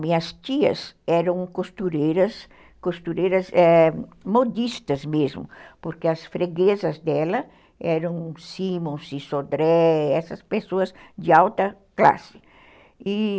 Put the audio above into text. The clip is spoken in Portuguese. Minhas tias eram costureiras, costureiras é... modistas mesmo, porque as freguesas dela eram Simons e Sodré, essas pessoas de alta classe.